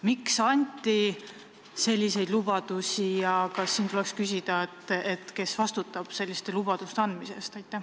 Miks anti selliseid lubadusi ja veel tahan küsida, kes vastutab selliste lubaduste andmise eest?